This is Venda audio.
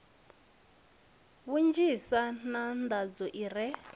vhunzhisa na nḓaḓo i re